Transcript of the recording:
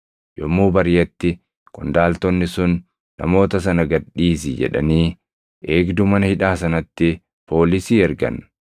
Yommuu bariʼetti qondaaltonni sun, “Namoota sana gad dhiisi” jedhanii eegduu mana hidhaa sanatti poolisii ergan.